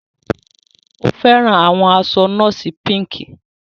O fẹran awọn aṣọ nọọsi Pink.